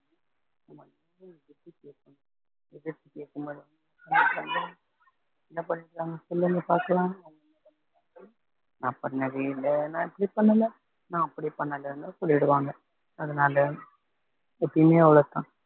எதிர்த்து கேக்கும்பொது என்ன பன்னிங்க சொல்லுங்க பார்க்கலாம் நான் பண்ணவே இல்ல நான் இப்டி பண்ணலைன்னு நா அப்படி பண்ணலைன்னு சொல்லிடுவாங்க அதனால எப்பையுமே அவ்வளவுதான்